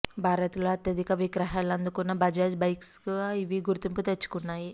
భారత్ లో అత్యధిక విక్రయాలు అందుకున్న బజాజ్ బైక్స్ గా ఇవి గుర్తింపు తెచ్చుకున్నాయి